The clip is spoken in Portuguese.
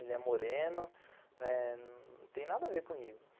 Ele é moreno, né, não tem nada a ver comigo.